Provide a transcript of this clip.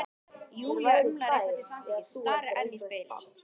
Júlía umlar eitthvað til samþykkis, starir enn í spegilinn.